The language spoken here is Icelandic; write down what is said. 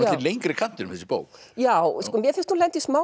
lengri kantinum þessi bók já mér finnst hún lenda í smá